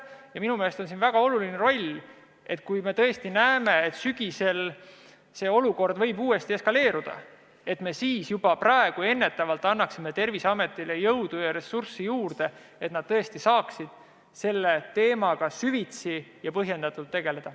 Ja minu meelest on siin väga oluline roll sellel, et kui me tõesti näeme, et sügisel võib see olukord uuesti eskaleeruda, siis me juba praegu, ennetavalt annaksime Terviseametile jõudu ja ressurssi juurde, et nad saaksid selle teemaga süvitsi ja põhjendatult tegeleda.